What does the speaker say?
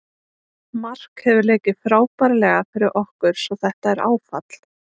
Mark hefur leikið frábærlega fyrir okkur svo þetta er áfall.